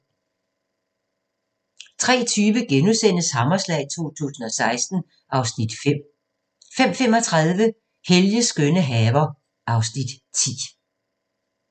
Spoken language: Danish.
03:20: Hammerslag 2016 (Afs. 5)* 05:35: Helges skønne haver (Afs. 10)